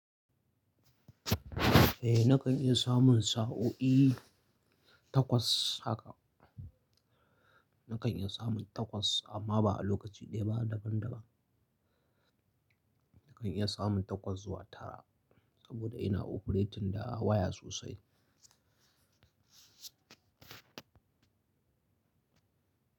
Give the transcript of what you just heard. Eh nakan iya samun sa'o'i takwas haka. Nakan iya samun takwas amma ba a lokaci ɗaya ba daban daban. Nakan iya samun takwas zuwa tara saboda ina operating da waya sosai.